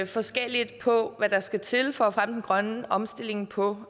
forskelligt på hvad der skal til for at fremme den grønne omstilling på